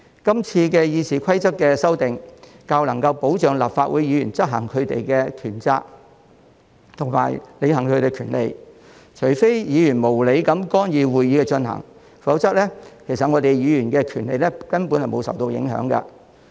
今次《議事規則》的修訂較能保障立法會議員執行權責及履行權利，除非議員無理地干預會議進行，否則，議員的權利根本沒有受影響。